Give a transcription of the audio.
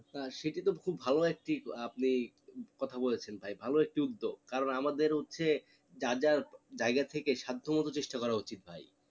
সেটি তো খুব ভালো একটি আপনি কথা বলেছেন ভাই ভালো একটি উদ্যোগ আমাদের হচ্ছে যার যার জায়গা থেকে সাধ্য মতো চেষ্টা করা উচিত ভাই